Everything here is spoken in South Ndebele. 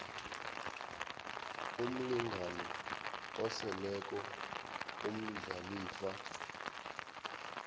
umlingani oseleko umdlalifa